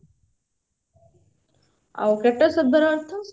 ଆଉ କ୍ରାଟୋସ ଶବ୍ଦ ର ଅର୍ଥ